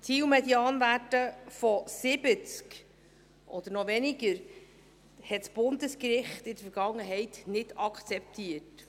Zielmedianwerte von 70 oder noch weniger hat das Bundesgericht in der Vergangenheit nicht akzeptiert.